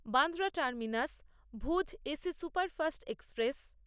Bandra terminus Bhuj AC superfast express